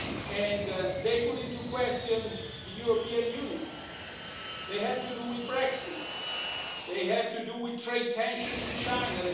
And they put into question the European Union. They have to do with Brexit. They have to do with trade tensions with